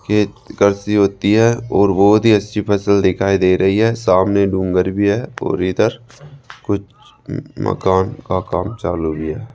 खेत होती है और बहोत ही अच्छी फसल दिखाई दे रही है सामने डूंगर भी है और इधर कुछ मकान का काम चालू भी है।